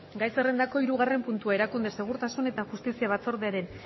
gai zerrendako hirugarren puntua erakunde segurtasun eta justizia batzordearen